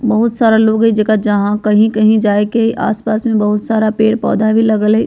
बहुत सारा लोग है जेकरा जहां कहि-कहि जाए के आस-पास में बहुत सारा पेड़-पौधा भी लगल हेय।